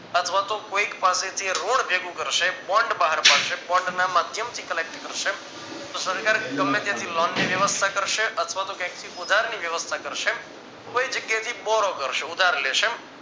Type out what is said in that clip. અથવા તો કોઈક પાસે થી એ રોડ ભેગું કરશે bond બહાર પડશે bond ના માધ્યમથી collect કરશે તો સરકાર ગમે ત્યાંથી લોન ની વ્યવસ્થા કરશે અથવા તો ક્યાંક થી ઉધારની વ્યવસ્થા કરશે કોઈ જગ્યાએથી borrow કરશે ઉધાર લેશે